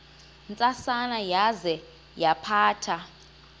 ntsasana yaza yaphatha